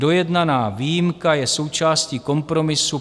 Dojednaná výjimka je součástí kompromisu.